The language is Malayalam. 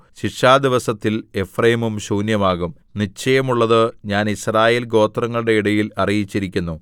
ശിക്ഷാദിവസത്തിൽ എഫ്രയീം ശൂന്യമാകും നിശ്ചയമുള്ളത് ഞാൻ യിസ്രായേൽ ഗോത്രങ്ങളുടെ ഇടയിൽ അറിയിച്ചിരിക്കുന്നു